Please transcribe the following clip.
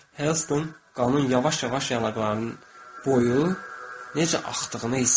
Helston qanın yavaş-yavaş yanaqlarının, boynunun necə axdığını hiss etdi.